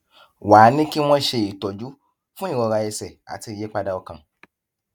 wá a ní kí wón ṣe ìtọjú fún ìrora ẹsè àti ìyípadà ọkàn